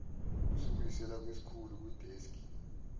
usibuyisela kusikhulu kwideski